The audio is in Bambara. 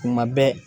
Kuma bɛɛ